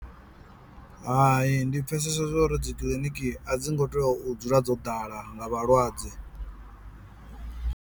Hai ndi pfhesesa zwo uri dzi kiḽiniki a dzi ngo teo u dzula dzo ḓala nga vhalwadze.